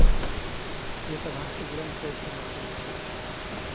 Ett av hans stora intressen är fotboll.